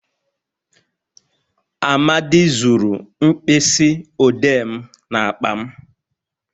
Amadi zuru mkpisi odee m n'akpa m